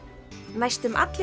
næstum allir